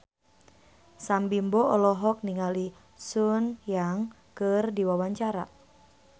Sam Bimbo olohok ningali Sun Yang keur diwawancara